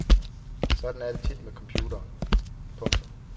Sådan er det tit med computere. punktum